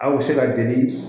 Aw bɛ se ka deli